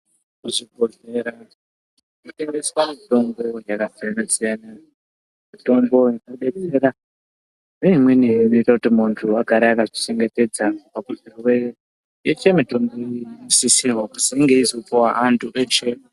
Muzvibhodhlera munotengeswa mitombo yakasiyana-siyana. Mitombo inodetsera , neimweni inoita kuti muntu agare akazvichengetedza pazvirwere. Yeshe mitomboyi ,inosisirwa kuzi inge yeizopiwa antu eshe.